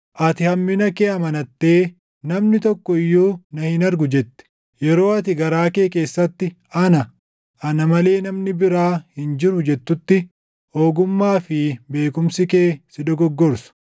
Ati hammina kee amanattee, ‘Namni tokko iyyuu na hin argu’ jette. Yeroo ati garaa kee keessatti, ‘Ana; ana malee namni biraa hin jiru’ jettutti, ogummaa fi beekumsi kee si dogoggorsu.